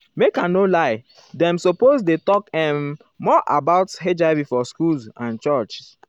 make i no liedem suppose dey talk ehm more about hiv for schools and churches.